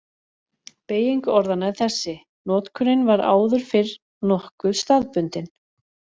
Beyging orðanna er þessi: Notkunin var áður fyrr nokkuð staðbundin.